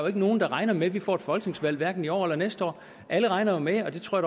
er nogen der regner med at vi får et folketingsvalg hverken i år eller næste år alle regner jo med og det tror